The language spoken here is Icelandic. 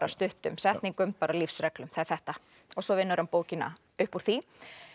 stuttum setningum bara lífsreglum það er þetta og svo vinnur hann bókina upp úr því